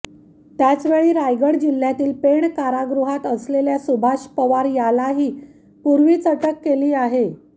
त्याचवेळी रायगड जिल्ह्यातील पेण कारागृहात असलेल्या सुभाष पवार यालाही पूर्वीच अटक केली आहे